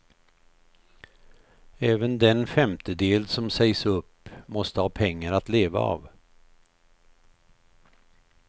Även den femtedel som sägs upp måste ha pengar att leva av.